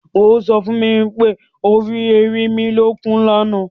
O so fún mi pé o rí ẹrinmilókun lána.